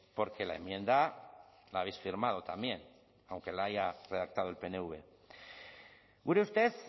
porque la enmienda la habéis firmado también aunque la haya redactado el pnv gure ustez